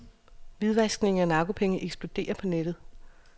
Hvidvaskning af narkopenge eksploderer på nettet.